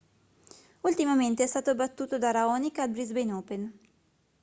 ultimamente è stato battuto da raonic al brisbane open